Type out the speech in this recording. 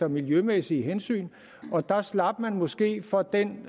miljømæssige hensyn og der slap man måske for den